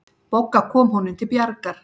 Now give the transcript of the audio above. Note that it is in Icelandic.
Bogga kom honum til bjargar.